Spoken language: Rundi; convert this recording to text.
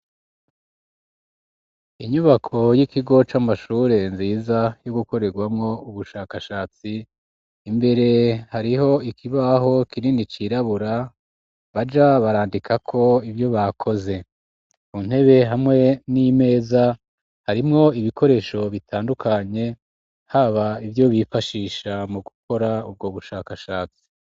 Inyubako y'ikigo c'amashure nziza yo gukorerwamwo ubushakashatsi imbere hariho ikibaho kinini cirabura baja barandikako ivyo bakoze mu ntebe hamwe n'imeza harimwo ibikoresho bitandukanye haba ivyo bifashisha mu gukora ubwo bushakashatsi.